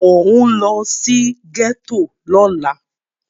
Mò ń lọ sí gẹ́tò lọ́la.